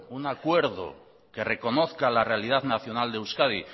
un acuerdo que reconozca la realidad nacional de euskadi